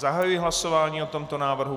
Zahajuji hlasování o tomto návrhu.